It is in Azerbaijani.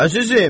Əzizim.